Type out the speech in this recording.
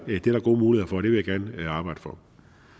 gode muligheder vil jeg gerne arbejde for